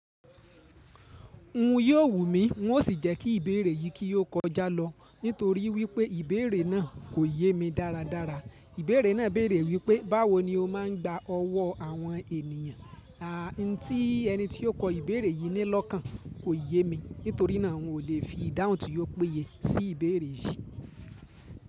N ò wù mí, n ó sì jẹ́ kí ìbéèrè yìí kí o kọjá lọ, nítorí wí pé ìbéèrè náà kò yé mi dáradára. Ìbéèrè náà béèrè wí pé, "Báwo ni o máa ń gba ọwọ́ àwọn ènìyàn?" Àntí ẹni tí ó kọ ìbéèrè yìí ní lọ́kàn kò yẹ mi, nítorí náà n ò lè fi ìdáhùn tí ó péye sí ìbéèrè yìí.